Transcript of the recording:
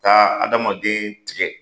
Ka adamaden tigɛ!